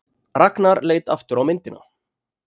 Ragnar leit aftur á myndina.